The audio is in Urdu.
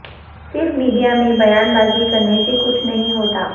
صرف میڈیا میں بیان بازی کرنے سے کچھ نہیں ہوتا